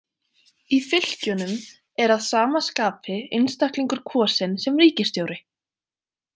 Í fylkjunum er að sama skapi einstaklingur kosinn sem ríkisstjóri.